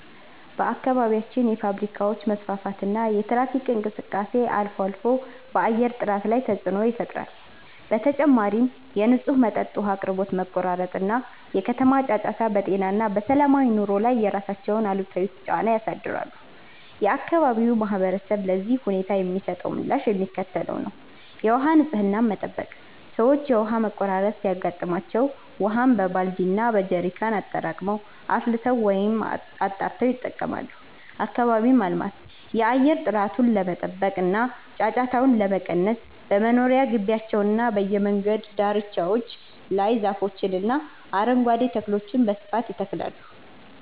በአካባቢያችን የፋብሪካዎች መስፋፋትና የትራፊክ እንቅስቃሴ አልፎ አልፎ በአየር ጥራት ላይ ተፅዕኖ ይፈጥራል። በተጨማሪም የንጹህ መጠጥ ውሃ አቅርቦት መቆራረጥ እና የከተማ ጫጫታ በጤና እና በሰላማዊ ኑሮ ላይ የራሳቸውን አሉታዊ ጫና ያሳድራሉ። የአካባቢው ማህበረሰብ ለዚህ ሁኔታ የሚሰጠው ምላሽ የሚከተለው ነው፦ የውሃ ንፅህናን መጠበቅ፦ ሰዎች የውሃ መቆራረጥ ሲያጋጥም ውሃን በባልዲ እና በጀሪካን አጠራቅመው፣ አፍልተው ወይም አጣርተው ይጠቀማሉ። አካባቢን ማልማት፦ የአየር ጥራቱን ለመጠበቅ እና ጫጫታውን ለመቀነስ በመኖሪያ ግቢዎችና በየመንገዱ ዳርቻዎች ላይ ዛፎችንና አረንጓዴ ተክሎችን በስፋት ይተክላሉ።